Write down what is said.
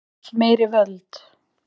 Vill meiri völd